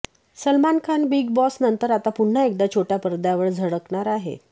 Salman Khan Bigg Boss नंतर आता पुन्हा एकदा छोट्या पडद्यावर झळकणार आहे